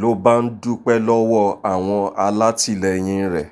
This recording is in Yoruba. ló bá ń dúpẹ́ lọ́wọ́ àwọn alátìlẹyìn rẹ̀